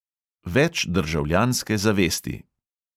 Več državljanske zavesti!